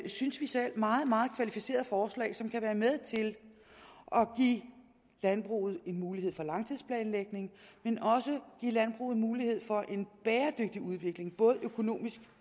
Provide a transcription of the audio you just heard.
synes vi selv meget meget kvalificerede forslag som kan være med til at give landbruget en mulighed for langtidsplanlægning men også give landbruget en mulighed for en bæredygtig udvikling både økonomisk